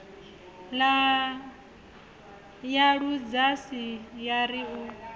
ya ludzhasi ya ri u